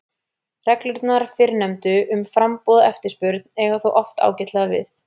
Reglurnar fyrrnefndu um framboð og eftirspurn eiga þó oft ágætlega við.